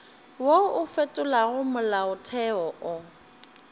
wo o fetolago molaotheo o